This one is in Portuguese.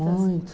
Muitos,